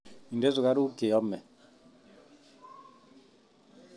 Ide sukaruk cheyome